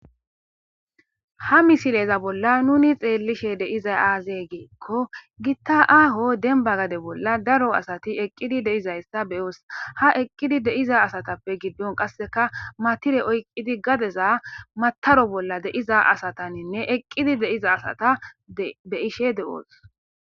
Ha misileza bolla nuuni xeellishe de7izay aazee giikko githa aaho dembba gade bolla daro asathi eqqidi de7izayssa be7oos;ha eqqidi de7iza asathapekka gidduwan qassikka matire oykkizi gadeza maththaro bolla de7iza asathaninne eqqidi de7iza asatha be7ishee de7oos.